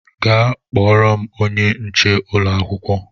Gaa kpọọrọ m onye nche ụlọ akwụkwọ!